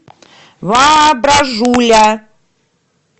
воображуля